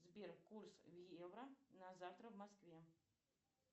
сбер курс в евро на завтра в москве